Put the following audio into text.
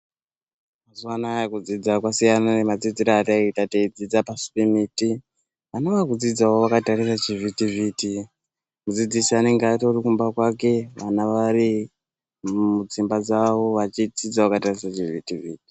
Mazuwanaya kudzidza kwasiyana nemadzidzire ataita teidzidza pasi pemiti. Vana vakudzidzawo vakatarisa zvivhitivhiti. Mudzidzisi anenge atori kumba kwake vana vari mudzimba dzawo vachidzidza vakatarisa chivhitivhiti.